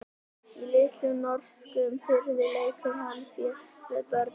Í litlum norskum firði leikur hann sér með börnum.